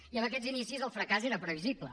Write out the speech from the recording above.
i amb aquests inicis el fracàs era previsible